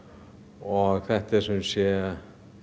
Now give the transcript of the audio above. og þetta eru sumsé